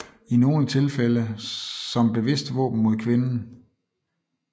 I nogle tilfælde som bevidst våben mod kvinden